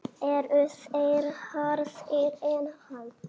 Eru þeir harðari en hann?